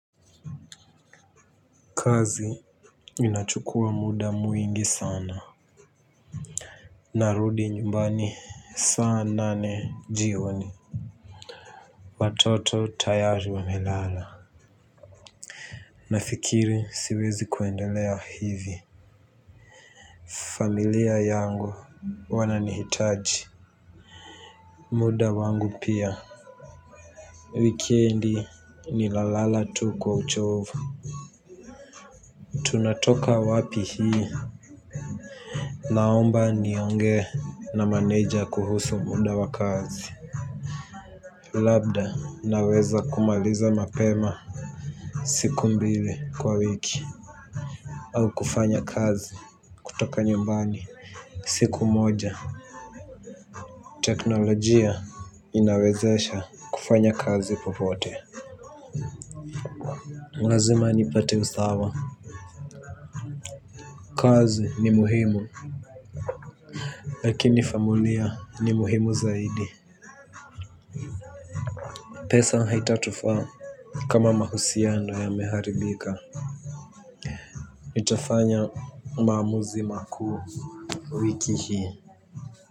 Kazi inachukua muda mwingi sana. Narudi nyumbani saa nane jioni. Watoto tayari wa melala. Nafikiri siwezi kuendelea hivi. Familia yangu wananihitaji. Muda wangu pia. Wikendi ni lalala tu kwa uchovu. Tunatoka wapi hii. Naomba nionge na maneja kuhusu muda wa kazi. Labda naweza kumaliza mapema siku mbili kwa wiki au kufanya kazi kutoka nyumbani siku moja. Teknolojia inawezesha kufanya kazi popote lazima nipate usawa. Kazi ni muhimu. Lakini familia ni muhimu zaidi. Pesa haitatufa kama mahusiano ya meharibika. Nitafanya maamuzi makuu wiki hii.